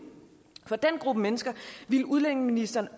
gruppe mennesker ville udlændingeministeren